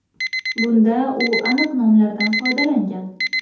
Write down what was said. Bunda u aniq nomlardan foydalangan.